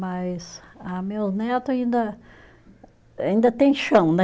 Mas ah meus neto ainda, ainda têm chão, né?